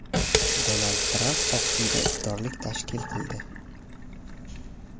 Donald Tramp Oq Uyda iftorlik tashkil qildi.